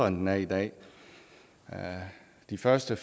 end den er i dag de første